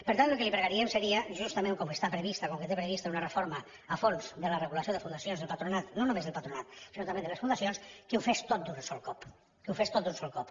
per tant el que li pregaríem seria justament com que té prevista una reforma a fons de la regulació de fundacions del patronat no només del patronat sinó també de les fundacions que ho fes tot d’un sol cop que ho fes tot d’un sol cop